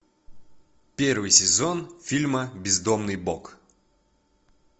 первый сезон фильма бездомный бог